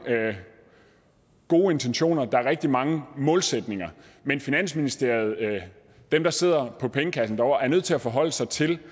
gode intentioner der er rigtig mange målsætninger men finansministeriet dem der sidder på pengekassen er nødt til at forholde sig til